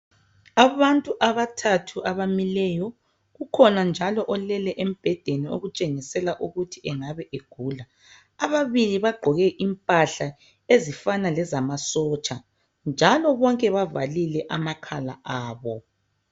Abantu abathathu abamileyo kukhona njalo olele embedeni okutshengisela ukuthi engabe egula ababili bagqoke impahla ezifana lezamasotsha njalo bonke bavalile amakhala abo.